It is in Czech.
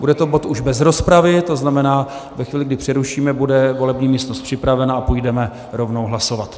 Bude to bod už bez rozpravy, to znamená, ve chvíli, kdy přerušíme, bude volební místnost připravena a půjdeme rovnou hlasovat.